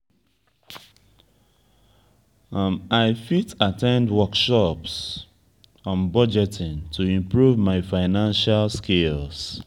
i fit at ten d workshops on budgeting to improve my financial skills.